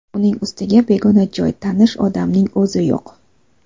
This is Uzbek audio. Uning ustiga, begona joy, tanish odamning o‘zi yo‘q.